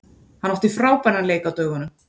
Hann átti frábæran leik á dögunum.